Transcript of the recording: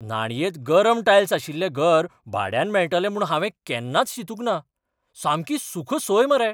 न्हाणयेंत गरम टायल्स आशिल्लें घर भाड्यान मेळटले म्हूण हांवें केन्नाच चिंतूंक ना. सामकी सूख सोय मरे!